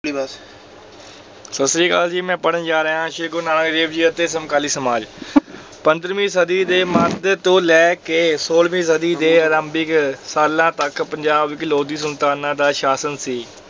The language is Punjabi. ਸਤਿ ਸ੍ਰੀ ਅਕਾਲ ਜੀ ਮੈਂ ਪੜ੍ਹਨ ਜਾ ਰਿਹਾ ਹਾਂ ਸ੍ਰੀ ਗੁਰੂ ਨਾਨਕ ਦੇਵ ਜੀ ਅਤੇ ਸਮਕਾਲੀ ਸਮਾਜ ਪੰਦਰਵੀਂ ਸਦੀ ਦੇ ਮੱਧ ਤੋਂ ਲੈ ਕੇ ਛੋਲਵੀਂ ਸਦੀ ਦੇ ਆਰੰਭਿਕ ਸਾਲਾਂ ਤੱਕ ਪੰਜਾਬ ਸੁਲਤਾਨਾਂ ਦਾ ਸ਼ਾਸਨ ਸੀ,